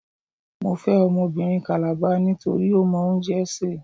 Mo fẹ́ ọmọbìnrin Kàlàba nítorí ó mọ oúnjẹ sè.